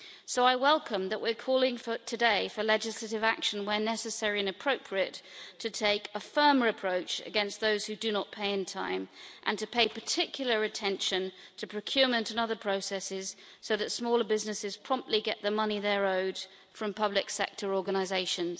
So I welcome that we're calling today for legislative action where necessary and appropriate to take a firmer approach against those who do not pay in time, and to pay particular attention to procurement and other processes so that smaller businesses promptly get the money they are owed from public sector organisations.